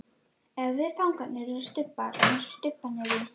Ef við fangarnir erum stubbar, einsog stubbarnir í